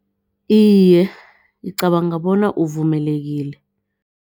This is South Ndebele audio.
Iye, ngicabanga bona uvumelekile.